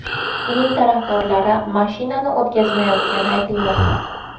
Uning tarafdorlari mashinani o‘tkazmayotgani aytilmoqda.